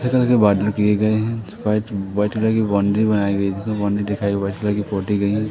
ऐसा लगे बॉर्डर किए गए हैं। व्हाईट वाइट कलर की बाउंड्री बनाई गई है जिसे बाउंड्री दिखाई गई ऐसा लगी --